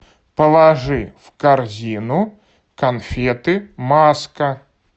положи в корзину конфеты маска